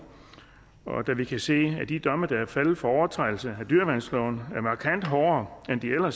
da vi kan se at de domme der er faldet for overtrædelse af dyreværnsloven er markant hårdere end de var